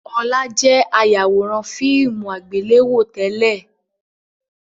Ọlá jẹ̀ ayawòrán fíìmù àgbéléwò tẹ́lẹ̀